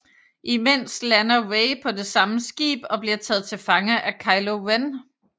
Imens lander Rey på det samme skib og bliver taget til fange af Kylo Ren